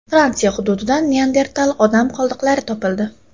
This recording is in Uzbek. Fransiya hududidan Neandertal odam qoldiqlari topildi.